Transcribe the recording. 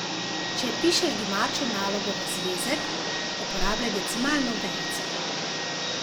Če pišeš domačo nalogo v zvezek, uporabljaj decimalno vejico.